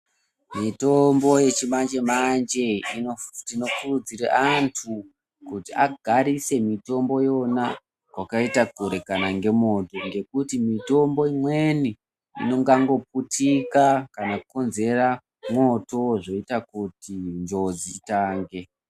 Mitombo yechimanjemenje tinokurudzire antu kuti agarise mitomboyona kwakaita kure kana ngemoto, ngekuti mitombo imweni ingangoputika kana kukonzera moto zvoita kuti njodzi itange.